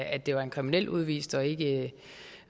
at det var en kriminel udvist og ikke